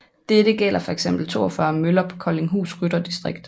Dette gælder fx 42 møller på Koldinghus Rytterdistrikt